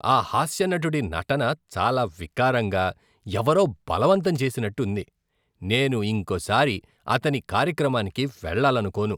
ఆ హాస్యనటుడి నటన చాలా వికారంగా, ఎవరో బలవంతం చేసినట్టు ఉంది, నేను ఇంకోసారి అతని కార్యక్రమానికి వెళ్ళాలనుకోను.